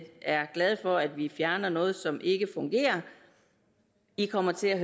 er glade for at vi fjerner noget som ikke fungerer i kommer til at